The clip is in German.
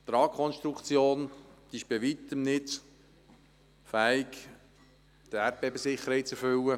Die Tragkonstruktion ist bei Weitem nicht fähig, die Erdbebensicherheit zu erfüllen.